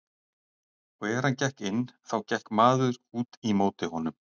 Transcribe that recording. Og er hann gekk inn þá gekk maður út í móti honum.